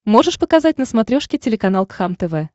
можешь показать на смотрешке телеканал кхлм тв